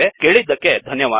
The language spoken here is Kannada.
ಕೇಳಿದ್ದಕ್ಕೆ ಧನ್ಯವಾದ